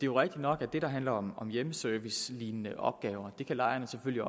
jo rigtigt nok at det der handler om om hjemmeservicelignende opgaver kan lejerne selvfølgelig